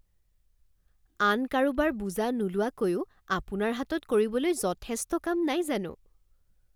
আন কাৰোবাৰ বোজা নোলোৱাকৈয়ো আপোনাৰ হাতত কৰিবলৈ যথেষ্ট কাম নাই জানো